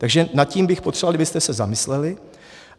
Takže nad tím bych potřeboval, abyste se zamysleli.